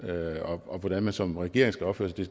og hvordan man som regering skal opføre